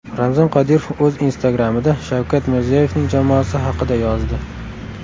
Ramzan Qodirov o‘z Instagram’ida Shavkat Mirziyoyevning jamoasi haqida yozdi.